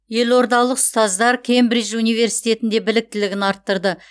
елордалық ұстаздар кембридж университетінде біліктілігін арттырды